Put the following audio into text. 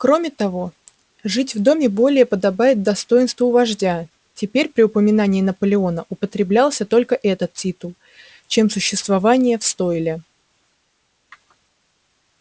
кроме того жить в доме более подобает достоинству вождя теперь при упоминании наполеона употреблялся только этот титул чем существование в стойле